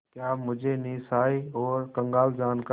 क्या मुझे निस्सहाय और कंगाल जानकर